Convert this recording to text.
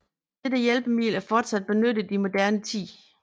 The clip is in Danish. Dette hjælpemiddel er fortsat benyttet i moderne tid